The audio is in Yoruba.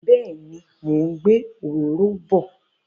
Bẹ́ẹ̀ni, mò ń òróró bọ̀.